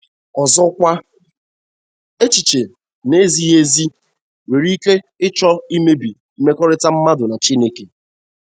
Ọzọkwa, echiche na - ezighị ezi nwere ike ịchọ imebi mmekọrịta mmadụ na Chineke..